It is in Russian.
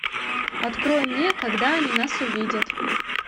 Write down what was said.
открой мне когда они нас увидят